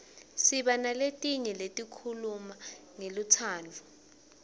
siba naletinyenti letikhuluma ngelutsandvo